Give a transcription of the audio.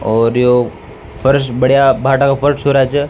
और यो फर्श बढ़िया भाटा का फर्श हो रहा छ।